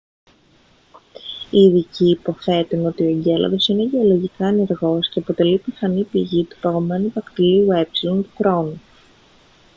οι ειδικοί υποθέτουν ότι ο εγκέλαδος είναι γεωλογικά ενεργός και αποτελεί πιθανή πηγή του παγωμένου δακτυλίου ε του κρόνου